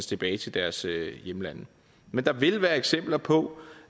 tilbage til deres hjemland men der vil være eksempler på